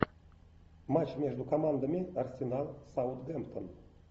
матч между командами арсенал саутгемптон